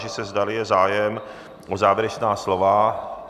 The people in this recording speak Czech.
Táži se, zdali je zájem o závěrečná slova.